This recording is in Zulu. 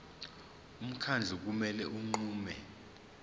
umkhandlu kumele unqume